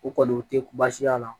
U kɔni u tɛ baasi y'a la